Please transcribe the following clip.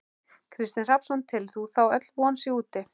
Kristinn Hrafnsson: Telur þú þá öll von sé úti?